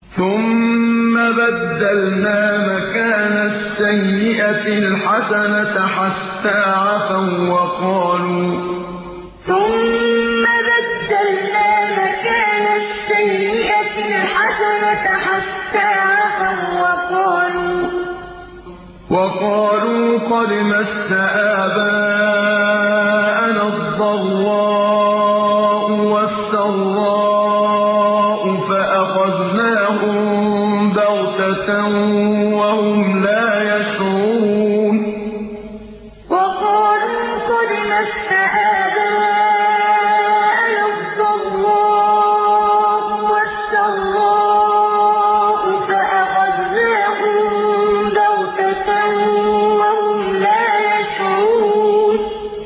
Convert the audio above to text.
ثُمَّ بَدَّلْنَا مَكَانَ السَّيِّئَةِ الْحَسَنَةَ حَتَّىٰ عَفَوا وَّقَالُوا قَدْ مَسَّ آبَاءَنَا الضَّرَّاءُ وَالسَّرَّاءُ فَأَخَذْنَاهُم بَغْتَةً وَهُمْ لَا يَشْعُرُونَ ثُمَّ بَدَّلْنَا مَكَانَ السَّيِّئَةِ الْحَسَنَةَ حَتَّىٰ عَفَوا وَّقَالُوا قَدْ مَسَّ آبَاءَنَا الضَّرَّاءُ وَالسَّرَّاءُ فَأَخَذْنَاهُم بَغْتَةً وَهُمْ لَا يَشْعُرُونَ